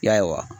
Ya